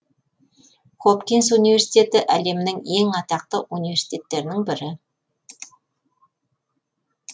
хопкинс университеті әлемнің ең атақты университеттерінің бірі